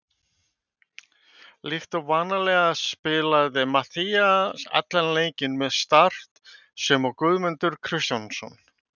Líkt og vanalega spilaði Matthías allan leikinn með Start sem og Guðmundur Kristjánsson.